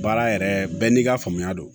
Baara yɛrɛ bɛɛ n'i ka faamuya don